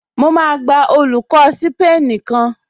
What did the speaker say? Mo máa gba olùkọ́ ṣípánísì kan